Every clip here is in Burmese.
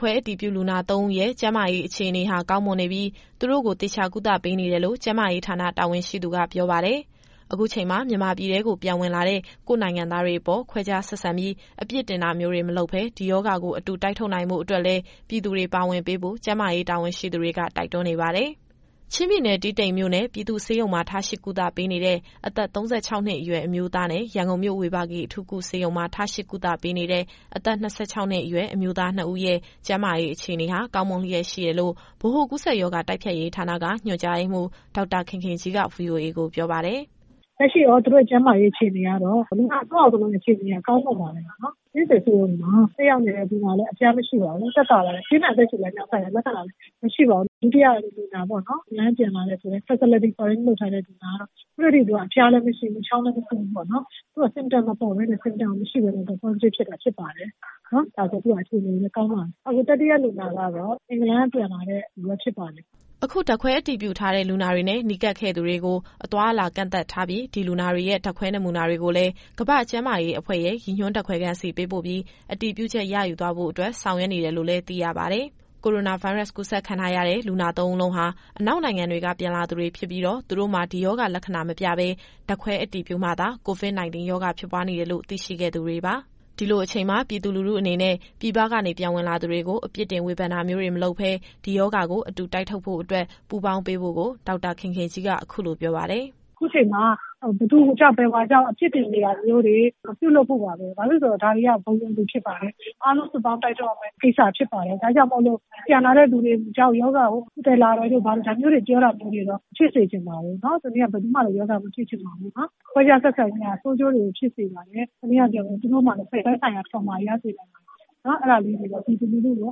ခွဲအတည်ပြုလူနာ သုံးဦးရဲ့ ကျန်းမာရေးအခြေအနေဟာ ကောင်းမွန်နေပြီး သူတို့ကို သေချာကုသပေးနေတယ်လို့ ကျန်းမာရေးဌာနတာဝန်ရှိသူက ပြောပါတယ်။ အခုချိန်မှာ မြန်မာပြည်ထဲကို ပြန်ဝင်လာတဲ့ ကိုယ့်နိုင်ငံသားတွေအပေါ် ခွဲခြားဆက်ဆံပြီး အပြစ်တင်တာမျိုးတွေ မလုပ်ဘဲ ဒီရောဂါကို အတူ တိုက်ထုတ်နိုင်ဖို့အတွက်လည်း ပြည်သူတွေပါဝင်ပေးဖို့ ကျန်းမာရေးတာဝန်ရှိသူတွေက တိုက်တွန်းနေပါတယ်။ အပြည့်အစုံကို ဗွီအိုအေမြန်မာပိုင်း သတင်းထောက် စုစုက ပြောပြသွားမှာပါ။ ချင်းပြည်နယ်၊ တီးတိန်မြို့နယ် ပြည်သူ့ဆေးရုံမှာ ထားရှိကုသပေးနေတဲ့ အသက် ၃၆နှစ်အရွယ် အမျိုးသားနဲ့ ရန်ကုန်မြို့ ဝေဘာဂီအထူးကုဆေးရုံမှာ ထားရှိကုသပေးနေတဲ့ အသက် ၂၆ နှစ်အရွယ် အမျိုးသား နှစ်ဦးရဲ့ ကျန်းမာရေးအခြေအနေဟာ ကောင်းမွန်လျက်ရှိတယ်လို့ ဗဟိုကူးစက်ရောဂါ တိုက်ဖျက်ရေးဌာနက ညွှန်ကြားရေးမှူး ဒေါက်တာခင်ခင်ကြီးက ဗွီအိုအေကို ပြောပါတယ်။ "လက်ရှိသူတို့ရဲ့ အခြေအနေကတော့ လူနာသုံးယောက်လုံးရဲ့ ကျန်းမာရေး အခြေအနေက ကောင်းမွန်ပါတယ်။ တီးတိန်ဆေးရုံမှာ တက်ရောက်နေတဲ့ လူနာကလည်း အဖျားမရှိပါဘူး။ သက်သာပါတယ်။ ပြင်းထန်အသက်ရှူလမ်းကြောင်းဆိုင်ရာ လက္ခဏာလည်း မရှိပါဘူး။ ဒုတိယလူနာဖြစ်တဲ့ အင်္ဂလန်ကပြန်လာတဲ့ Facility Quarantine လုပ်ထားတယ်ဆိုတဲ့လူနာက ခုထက်ထိသူက အဖျားလည်းမရှိဘူး၊ ချောင်းလည်း မဆိုးဘူးပေါ့နော်။ သူက Symptom မပေါ်ဘဲနဲ့ Positive ဖြစ်တာ ဖြစ်ပါတယ်။ သူ့ရဲ့အခြေအနေလည်း ကောင်းပါတယ်။ အခု တတိယလူနာကတော့ အင်္ဂလန်ကပြန်လာတာဖြစ်ပါတယ်။ သူ့ရဲ့အခြေအနေကလည်း ကောင်းမွန်ပါတယ်။" အခု ဓာတ်ခွဲအတည်ပြုထားတဲ့ လူနာတွေနဲ့ နီးကပ်ခဲ့သူတွေကို အသွားအလာကန့်သတ်ထားပြီး၊ လူနာတွေရဲ့ ဓာတ်ခွဲနမူနာတွေကိုလည်း ကမ္ဘာ့ကျန်းမာရေးအဖွဲ့ရဲ့ ရည်ညွှန်းဓာတ်ခွဲခန်းဆီ ပေးပို့ပြီး အတည်ပြုချက်ရယူသွားဖို့အတွက် ဆောင်ရွက်နေတယ်လို့လည်း သိရပါတယ်။ ကိုရိုနာဗိုင်းရပ်စ်ကူးစက်ခံထားရတဲ့ လူနာသုံးဦးလုံးဟာ အနောက်နိုင်ငံတွေက ပြန်လာသူတွေဖြစ်ပြီးတော့ သူတို့မှာ ဒီရောဂါလက္ခဏာမပြဘဲ ဓာတ်ခွဲအတည်ပြုမှသာ COVID- 19 ရောဂါဖြစ်ပွားနေတယ်လို့ သိရှိခဲ့သူတွေပါ။ ဒီလိုအချိန်မှာ ပြည်သူလူထုအနေနဲ့ ပြည်ပကနေပြန်ဝင်လာသူတွေကို အပြစ်တင်ဝေဖန်တာမျိုးတွေ မလုပ်ဘဲ ဒီရောဂါကိုအတူတိုက်ထုတ်ဖို့အတွက် ပူးပေါင်းပေးဖို့ကို ဒေါက်တာခင်ခင်ကြီးက အခုလိုပြောပါတယ်။ "အခုချိန်မှာ ဘယ်သူကြောင့် ဘယ်ဝါကြောင့် အပြစ်တင်နေတာမျိုးတွေ မပြုလုပ်ဖို့ပါပဲ။ ဘာဖြစ်လို့လည်းဆိုတော့ ဒါတွေက ဘုံရန်သူဖြစ်ပါတယ်။ အားလုံးစုပေါင်း တိုက်ထုတ်ရမယ့်ကိစ္စဖြစ်ပါတယ်။ ဒါကြောင့်မို့ ပြန်လာတဲ့သူတွေကြောင့် ရောဂါကို သယ်လာတယ်တို့ ဘာတို့ ဒါမျိုးတွေ ပြောတာတွေကိုတော့ မဖြစ်စေချင်ပါဘူး။ ဘယ်သူမှလည်း ရောဂါမဖြစ်ချင်ပါဘူး။ ခွဲခြားဆက်ဆံခြင်းဟာ ဆိုးကျိုးတွေကိုဖြစ်စေပါတယ်။ တနည်းအားဖြင့်ပြောရင် သူတို့မှာလည်း သက်ဆိုင်ရာ Trauma တွေ ရစေပါတယ်။ အဲဒါလေးတွေတော့ ပြည်သူလူထုကို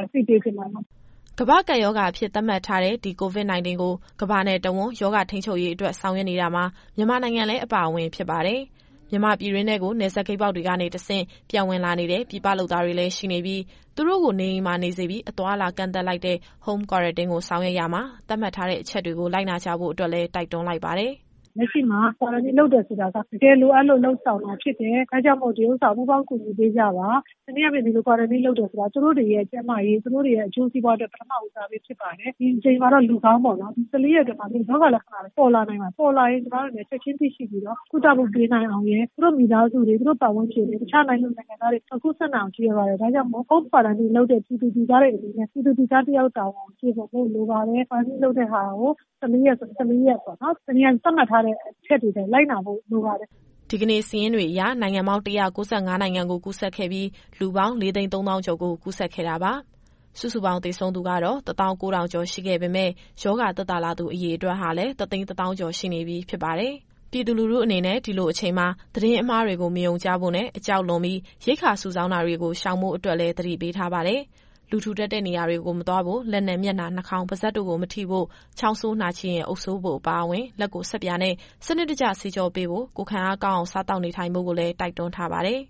အသိပေးချင်ပါတယ်။" ကမ္ဘာ့ကပ်ရောဂါအဖြစ် သတ်မှတ်ထားတဲ့ ဒီ COVID-19 ကို ကမ္ဘာနဲ့တဝန်း ရောဂါထိန်းချုပ်ရေးအတွက် ဆောင်ရွက်နေတာမှာ မြန်မာနိုင်ငံလည်း အပါအဝင်ဖြစ်ပါတယ်။ မြန်မာပြည်တွင်းထဲကို နယ်စပ်ဂိတ်ပေါက်တွေကနေ တဆင့် ပြန်ဝင်လာနေတဲ့ ပြည်ပလုပ်သားတွေလည်း ရှိနေပြီး သူတို့ကို နေအိမ်မှာနေစေပြီး အသွားအလာကန့်သတ်လိုက်တဲ့ Home Quarantine ကိုဆောင်ရွက်တာမှာ သတ်မှတ်ထားတဲ့အချက်တွေကို လိုက်နာကြဖို့အတွက်လည်း တိုက်တွန်းလိုက်ပါတယ်။ "လက်ရှိမှာ Quarantine လုပ်တယ်ဆိုတာက တကယ်လိုအပ်လို့ လုပ်ဆောင်တာဖြစ်တယ်။ ဒါကြောင့်မို့ ဒါကိုပူးပေါင်း ကူညီပေးကြပါ။ တနည်းအားဖြင့် ဒီလို Quarantine လုပ်တာဟာ သူတို့တွေရဲ့ ကျန်းမာရေး၊ အကျိုးစီးပွားအတွက် ပထမဦးစားပေးဖြစ်ပါတယ်။ ဒီအချိန်မှာတော့ လူကောင်းပေါ့နော်။ ဒါပေမဲ့ ၁၄ ရက်အတွင်းမှာ ရောဂါလက္ခဏာတွေ ပေါ်လာနိုင်ပါတယ်။ ပေါ်လာရင် ကျမတို့အနေနဲ့ ချက်ချင်းသိရှိပြီးတော့ ကုသမှုပေးနိုင်အောင်ရယ်၊ သူတို့မိသားစု၊ ပတ်ဝန်းကျင်၊ တခြားနိုင်ငံသူ နိုင်ငံသားတွေ မကူးစက်နိုင်အောင် ရည်ရွယ်ပါတယ်။ ဒါကြောင့်မို့ Home Quarantine လုပ်တဲ့ ပြည်သူတွေအနေနဲ့ ပြည်သူလူသားတယောက် တာဝန်ကိုကျေပွန်ဖို့ လိုပါတယ်။ Quarantine လုပ်တဲ့ဟာကို ၁၄ ရက်ဆို ၁၄ ရက်ပေါ့နော်။ တနည်းအားဖြင့် သတ်မှတ်ထားတဲ့ အချက်တွေအတိုင်း လိုက်နာဖို့ လိုပါတယ်။" ဒီကနေ့စာရင်းတွေအရ နိုင်ငံပေါင်း ၁၉၅နိုင်ငံကို ကူးစက်ခဲ့ပြီး၊ လူပေါင်း ၄၃၀,၀၀၀ ကျော်ကို ကူးစက်ခဲ့တာပါ။ စုစုပေါင်း သေဆုံးသူ ၁၉,၀၀၀ ကျော်ရှိခဲ့ပေမယ့် ရောဂါသက်သာလာသူ အရေအတွက်ဟာလည်း ၁၁၀,၀၀၀ ကျော် ရှိနေပြီဖြစ်ပါတယ်။ ပြည်သူလူထုအနေနဲ့ ဒီလိုအချိန်မှာ သတင်းအမှားတွေကို မယုံကြဖို့နဲ့ အကြောက်လွန်ပြီး ရိက္ခာစုဆောင်းတာတွေကို ရှောင်ဖို့အတွက်လည်း သတိပေးထားပါတယ်။ လူထူထပ်တဲ့နေရာတွေကို မသွားဖို့၊ လက်နဲ့ မျက်နှာ နှာခေါင်း ပါးစပ်တို့ကို မထိဖို့၊ ချောင်းဆိုးနှာချေရင် အုပ်စိုးဖို့အပါအဝင်၊ လက်ကိုဆပ်ပြာနဲ့ စနစ်တကျ သေချာဆေးကြောပေးဖို့၊ ကိုယ်ခံအားကောင်းအောင် စားသောက်နေထိုင်ဖို့ကိုလည်း တိုက်တွန်းထားပါတယ်။